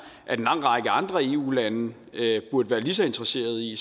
at en lang række andre eu lande burde være lige så interesserede i